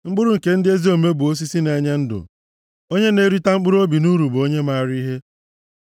Mkpụrụ nke ndị ezi omume bụ osisi na-enye ndụ, onye na-erita mkpụrụobi nʼuru bụ onye maara ihe.